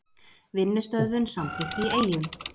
Vinnustöðvun samþykkt í Eyjum